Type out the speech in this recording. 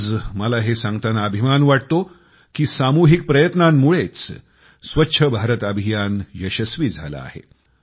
आज मला हे सांगताना अभिमान वाटतो कि सामुहिक प्रयत्नामुळेच स्वच्छ भारत अभियान यशस्वी झालं आहे